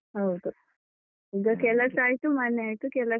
ಹೌದು, ಈಗ ಕೆಲಸ ಆಯ್ತು ಮನೆ ಆಯ್ತು ಕೆಲಸ.